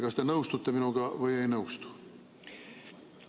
Kas te nõustute minuga või ei nõustu?